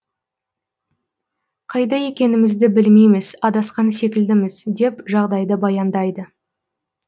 қайда екенімізді білмейміз адасқан секілдіміз деп жағдайды баяндайды